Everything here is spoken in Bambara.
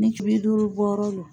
Nicuri duuru bɔrɔ lo